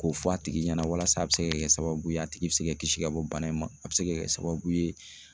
K'o fɔ a tigi ɲɛna walasa a bɛ se ka kɛ sababu ye a tigi bɛ se ka kisi ka bɔ bana in ma a bɛ se ka kɛ sababu ye